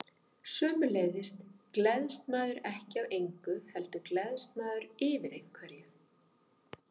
Sömuleiðis gleðst maður ekki af engu, heldur gleðst maður yfir einhverju.